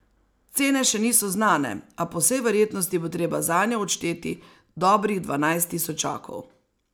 Cene še niso znane, a po vsej verjetnosti bo treba zanjo odšteti dobrih dvanajst tisočakov.